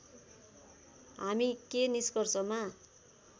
हामी के निष्कर्षमा